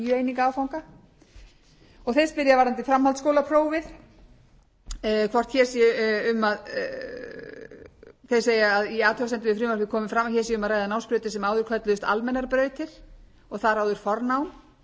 eininga áfanga og þeir spyrja varðandi framhaldsskólaprófið þeir segja að í athugasemdum við frumvarpið komi fram að hér sé um að ræða námsbrautir sem áður kölluðust almennar brautir og þar áður fornám við vitum